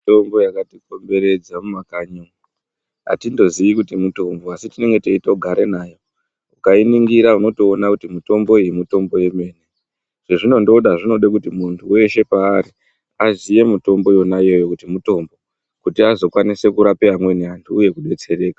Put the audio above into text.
Mitombo yakatikomberedza mumakanyi umwo atitoziyi kuti mutombo asi tinenge teitogare nayo ukainingira unotoona kuti mutombo iyi mitombo yemene chezvinondoda zvinode kuti muntu weshe paari aziye mutombo yonayo kuti mitombo kuti azokwanise kurapa amweni antu uye kudetsereka.